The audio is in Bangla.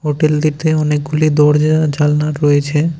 হোটেলটিতে অনেকগুলি দরজা জালনা রয়েছে।